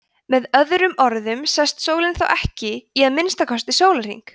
með öðrum orðum sest sólin þá ekki í að minnsta kosti sólarhring